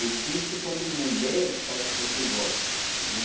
Existe quando mulher faz o que você gosta, entendeu?